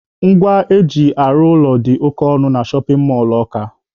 Ngwa eji arụ ụlọ dị oke ọnụ na shọpin mọlụ Ọka.